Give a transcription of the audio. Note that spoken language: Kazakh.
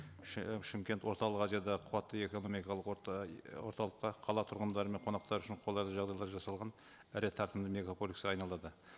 і шымкент орталық азиядағы қуатты экономикалық орталыққа қала тұрғындары мен қонақтар үшін қолайлы жағдайлар жасалған ірі тартымды мегаполиске айналдырды